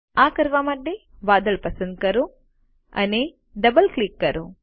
આ કરવા માટે વાદળ પસંદ કરો અને ડબલ ક્લિક કરો